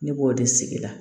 Ne b'o de sigi la